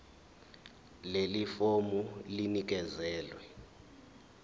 leli fomu linikezelwe